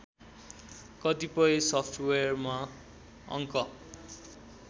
कतिपय सफ्टवेयरमा अङ्क